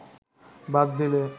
বাদ দিলে